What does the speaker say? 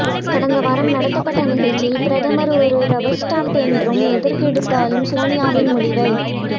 கடந்த வாரம் நடத்தப்ட்ட நிகழ்ச்சியில் பிரதமர் ஒரு ரப்பர் ஸ்டாம்பு என்றும் எதற்கெடுத்தாலும் சோனியாவின் முடிவை